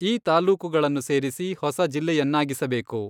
ಈ ತಾಲ್ಲೂಕುಗಳನ್ನು ಸೇರಿಸಿ ಹೊಸ ಜಿಲ್ಲೆಯನ್ನಾಗಿಸಬೇಕು.